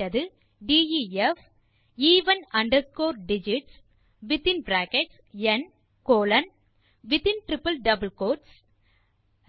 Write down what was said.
கொடுக்கப்பட்டது def even underscore digits within bracket n colon